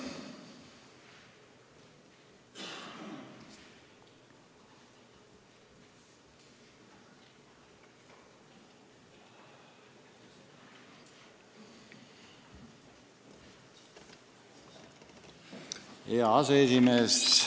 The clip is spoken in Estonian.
Hea aseesimees!